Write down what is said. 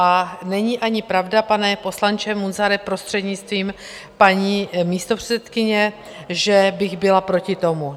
A není ani pravda, pane poslanče Munzare, prostřednictvím paní místopředsedkyně, že bych byla proti tomu.